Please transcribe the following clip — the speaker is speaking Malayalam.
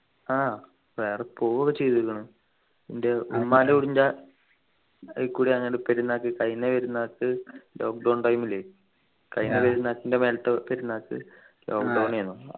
ആഹ് വേറെ പോകു ഒക്കെ ചെയ്തേക്കുന്നു ൻ്റെ ഉമ്മൻ്റെ വീടിൻ്റെ അതിലേക്കൂടി കഴിഞ്ഞ പെരുന്നാൾക്ക് lockdown time ലു കഴിഞ്ഞ പെരുന്നാളിൻ്റെ മേലെത്തെ പെരുന്നാളിക്ക് lockdown ഏന്നു